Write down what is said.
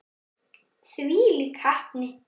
Þvílík heppni.